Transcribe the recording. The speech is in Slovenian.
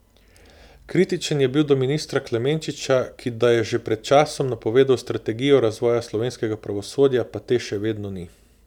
Kritičen je bil do ministra Klemenčiča, ki da je že pred časom napovedal strategijo razvoja slovenskega pravosodja, pa te še vedno ni.